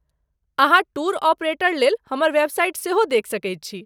अहाँ टूर ऑपरेटरलेल हमर वेबसाइट सेहो देखि सकैत छी।